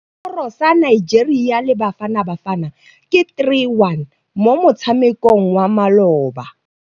Sekôrô sa Nigeria le Bafanabafana ke 3-1 mo motshamekong wa malôba.